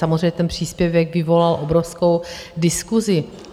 Samozřejmě ten příspěvek vyvolal obrovskou diskusi.